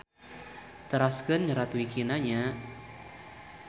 Teraskeun nyerat wikina nya.